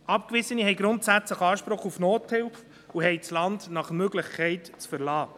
Abgewiesene haben grundsätzlich Anspruch auf Nothilfe, und sie haben das Land nach Möglichkeit zu verlassen.